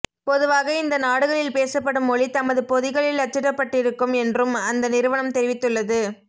பொதுவாக இந்த நாடுகளில் பேசப்படும் மொழி தமது பொதிகளில் அச்சிடப்பட்டிருக்கும் என்றும் அந்த நிறுவனம் தெரிவித்துள்ளது